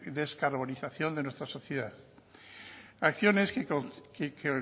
descarbonización de nuestra sociedad acciones que